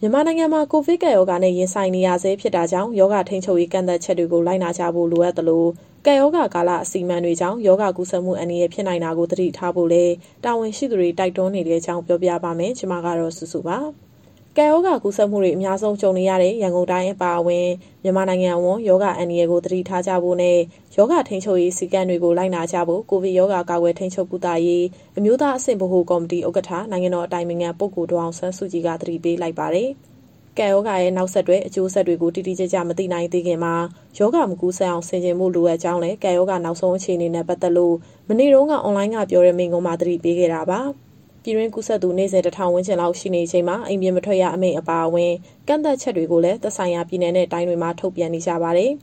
မြန်မာနိုင်ငံမှာ ကိုဗစ်ကပ်ရောဂါနဲ့ ရင်ဆိုင်နေရဆဲ ဖြစ်တာကြောင့် ရောဂါထိန်းချုပ်ရေး ကန့်သတ်ချက်တွေကို လိုက်နာကြဖို့ လိုအပ်သလို၊ ကပ်ရောဂါကာလ အစီအမံတွေကြောင့် ရောဂါကူးစက်မှု အန္တရာယ်ဖြစ်နိုင်တာကို သတိထားဖို့လည်း တာဝန်ရှိသူတွေ တိုက်တွန်းနေတဲ့အကြောင်း ဗွီအိုအေမြန်မာပိုင်း သတင်းထောက် မစုစုက တင်ဆက်ပေးမှာပါ။ ကပ်ရောဂါ ကူးစက်မှုတွေ အများဆုံး ကြုံနေရတဲ့ ရန်ကုန်တိုင်း အပါအဝင် မြန်မာနိုင်ငံအဝန်း ရောဂါအန္တရာယ်ကို သတိထားကြဖို့နဲ့ ရောဂါထိန်းချုပ်ရေး စည်းကမ်းတွေကို လိုက်နာကြဖို့ ကိုဗစ်ရောဂါ ကာကွယ်၊ ထိန်းချုပ်၊ ကုသရေး အမျိုးသားအဆင့်ဗဟိုကော်မတီ ဥက္ကဋ္ဌ၊ နိုင်ငံတော်အတိုင်ပင်ခံပုဂ္ဂိုလ် ဒေါ်အောင်ဆန်းစုကြည်က သတိပေးလိုက်ပါတယ်။ ကပ်ရောဂါရဲ့ နောက်ဆက်တွဲ အကျိုးဆက်တွေကို တိတိကျကျ မသိနိုင်သေးခင်မှာ ရောဂါမကူးစက်အောင် ဆင်ခြင်ဖို့ လိုအပ်ကြောင်းလည်း ကပ်ရောဂါနောက်ဆုံး အခြေအနေနဲ့ ပတ်သက်လို့ မနေ့တုန်းက အွန်လိုင်းကပြောတဲ့ မိန့်ခွန်းမှာ သတိပေးခဲ့တာပါ။ ပြည်တွင်းကူးစက်သူ နေ့စဉ် ၁,၀၀၀ ဝန်းကျင်လောက် ရှိနေချိန်မှာ အိမ်ပြင်မထွက်ရ အမိန့်အပါအဝင် ကန့်သတ်ချက်တွေကိုလည်း သက်ဆိုင်ရာ ပြည်နယ်နဲ့ တိုင်းတွေမှာ ထုတ်ပြန်နေကြပါတယ်။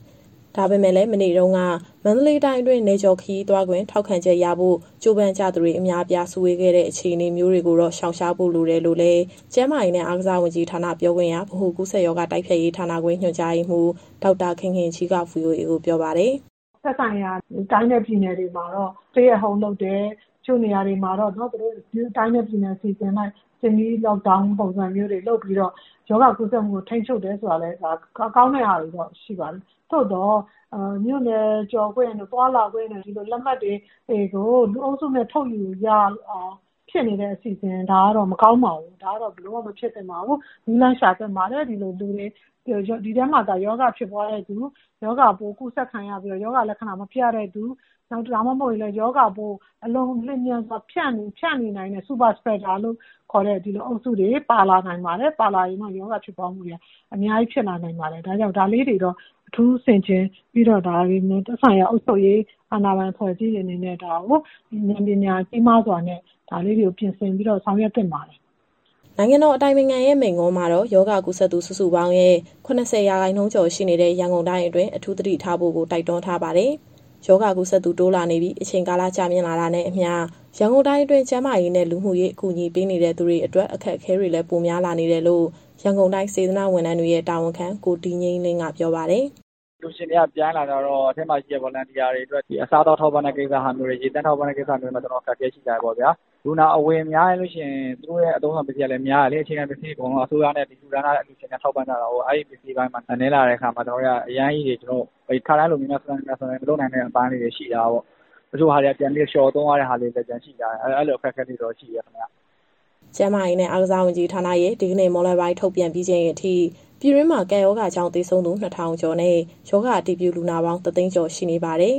ဒါပေမဲ့လည်း မနေ့တုန်းက မန္တလေးတိုင်းအတွင်း နယ်ကျော်ခရီးသွားခွင့် ထောက်ခံချက်ရဖို့ ကြိုးပမ်းကြသူတွေ အများအပြား စုဝေးခဲ့တဲ့ အခြေအနေမျိုးတွေကိုတော့ ရှောင်ရှားဖို့ လိုတယ်လို့လည်း ကျန်းမာရေးနဲ့ အားကစားဝန်ကြီးဌာန ပြောခွင့်ရ၊ ဗဟိုကူးစက်ရောဂါ တိုက်ဖျက်ရေးဌာနခွဲ ညွှန်ကြားရေးမှူး ဒေါက်တာခင်ခင်ကြီးက VOA ကိုပြောပါတယ်။ "သက်ဆိုင်ရာ တိုင်းနဲ့ပြည်နယ်တွေမှာတော့ Stay at Home လုပ်တယ်၊ တချို့နေရာတွေမှာတော့ တိုင်းနဲ့ပြည်နယ်အစီအစဉ်အလိုက် Semi-Lockdown ပုံစံမျိုးတွေ လုပ်ပြီးတော့ ရောဂါကူးစက်မှုကို ထိန်းချုပ်တယ်ဆိုတာ ကောင်းတဲ့ဟာတွေတော့ ရှိပါတယ်။ သို့သော် မြို့နယ်ကျော်သွားလာခွင့်တို့ကို လူအုပ်စုနဲ့ထုတ်ယူရလောက်အောင် ဖြစ်နေတဲ့အစီအစဉ်တွေကတော့ မကောင်းပါဘူး။ ဒါကတော့ ဘယ်လိုမှ မဖြစ်သင့်ပါဘူး၊ နည်းလမ်းရှာသင့်ပါတယ်။ ဒီထဲမှာသာ ရောဂါဖြစ်ပွားတဲ့သူ၊ ရောဂါပိုးကူးစက်ခံရပြီးတော့ လက္ခဏာမပြတဲ့သူ၊ ဒါမှမဟုတ်ရင်လည်း ရောဂါပိုးကို အလွန်လျင်မြန်စွာ ဖြန့်နိုင်တဲ့ Super Spreader လို့ခေါ်တဲ့အုပ်စုတွေ ပါလာရင်တော့ ရောဂါဖြစ်ပွားမှုတွေက အများကြီးဖြစ်လာနိုင်ပါတယ်။ ဒါကြောင့်မို့ ဒါလေးတွေကိုတော့ အထူးဆင်ခြင်ပြီးတော့ သက်ဆိုင်ရာအုပ်ချုပ်ရေး အာဏာပိုင်အဖွဲ့အစည်းတွေအနေနဲ့ ဉာဏ်ပညာကြီးမားစွာနဲ့ ပြင်ဆင်ပြီးတော့ဆောင်ရွက်သင့်ပါတယ်။" နိုင်ငံတော် အတိုင်ပင်ခံရဲ့ မိန့်ခွန်းမှာတော့ ရောဂါကူးစက်သူ စုစုပေါင်းရဲ့ ၇၀ ရာခိုင်နှုန်းကျော်ရှိတဲ့ ရန်ကုန်တိုင်းအတွင်း အထူးသတိထားဖို့ တိုက်တွန်းထားပါတယ်။ ရောဂါကူးစက်သူ တိုးလာနေပြီး အချိန်ကာလ ကြာမြင့်လာတာနဲ့အမျှ ရန်ကုန်တိုင်းအတွင်း ကျန်းမာရေးနဲ့ လူမှုရေး အကူအညီပေးနေသူတွေအတွက် အခက်အခဲတွေလည်း ပိုများလာနေတယ်လို့ ရန်ကုန်တိုင်း၊ စေတနာ့ဝန်ထမ်းတွေရဲ့ တာဝန်ခံ ကိုဒီငြိမ်းလင်းက ပြောပါတယ်။ "အလှူရှင်တွေက ပြိုင်းလာတဲ့အခါကျတော့ အထဲမှာရှိတဲ့ Volunteer တွေအတွက် အစားအသောက်ထောက်ပံ့တာနဲ့ ရေသန့်ထောက်ပံ့တဲ့ ကိစ္စမျိုးတွေမှာ အခက်အခဲရှိလာတယ်။ လူနာအဝင်များရင် သူတို့ရဲ့အသုံးအဆောင်ပစ္စည်းတွေကလည်း များတယ်လေ။ အခြေခံပစ္စည်းတွေအကုန်လုံးက အစိုးရနဲ့ ဒီလှူဒါန်းထားတဲ့ အလှူရှင်တွေကထောက်ပံ့ကြတာကိုး။ အဲဒီပစ္စည်းပိုင်းတွေနည်းလာတဲ့အခါမှာ ကျနော်တို့ ခါတိုင်းလို မြန်မြန်ဆန်ဆန် မြိုင်မြိုင်ဆိုင်ဆိုင်မလုပ်နိုင်တဲ့ အပိုင်းလေးတွေရှိလာတာပေါ့။ တချို့ဟာလေးတွေက ပြန်ပြီးတော့လျှော့သုံးရတဲ့အပိုင်းလေးတွေ ရှိလာတယ်၊ အဲလိုအခက်အခဲလေးတွေတော့ ရှိတယ်ခင်ဗျ။" ကျန်းမာရေးနဲ့ အားကစားဝန်ကြီးဌာနရဲ့ ဒီကနေ့မွန်းလွဲပိုင်းထုတ်ပြန်ပြီးချိန်အထိ ပြည်တွင်းမှာကပ်ရောဂါကြောင့် သေဆုံးသူ ၂,၀၀၀ ကျော်နဲ့ ရောဂါအတည်ပြုလူနာပေါင်း ၁၀၀,၀၀၀ ကျော် ရှိနေပါတယ်။